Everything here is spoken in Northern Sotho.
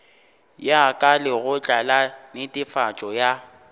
ya lekgotla la netefatšo ya